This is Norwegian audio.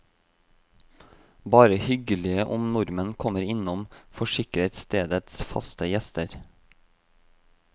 Bare hyggelig om nordmenn kommer innom, forsikrer stedets faste gjester.